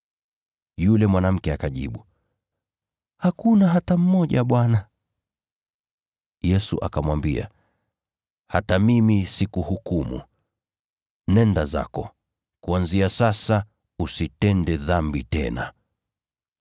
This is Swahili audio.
Yule mwanamke akajibu, “Hakuna hata mmoja Bwana.” Yesu akamwambia, “Hata mimi sikuhukumu. Nenda zako, kuanzia sasa usitende dhambi tena.” ]